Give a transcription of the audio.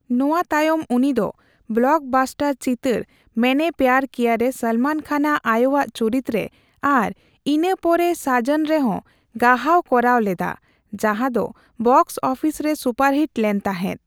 ᱱᱚᱣᱟ ᱛᱟᱭᱚᱢ ᱩᱱᱤᱫᱚ ᱵᱞᱚᱠ ᱵᱟᱥᱴᱟᱨ ᱪᱤᱛᱟᱹᱨ ᱢᱮᱭᱱᱮ ᱯᱮᱭᱟᱨ ᱠᱤᱭᱟ ᱨᱮ ᱥᱚᱞᱢᱚᱱ ᱠᱷᱟᱱ ᱟᱜ ᱟᱭᱳᱣᱟᱜ ᱪᱩᱨᱤᱛ ᱨᱮ ᱟᱨ ᱤᱱᱟᱹ ᱯᱚᱨᱮ ᱥᱟᱡᱚᱱ ᱨᱮᱦᱚᱸ ᱜᱟᱦᱟᱣ ᱠᱚᱨᱟᱣ ᱞᱮᱫᱟ ᱡᱟᱦᱟᱸ ᱫᱚ ᱵᱚᱠᱥ ᱚᱯᱷᱤᱥ ᱨᱮ ᱥᱩᱯᱟᱨᱦᱤᱴ ᱞᱮᱱ ᱛᱟᱦᱮᱸᱫ ᱾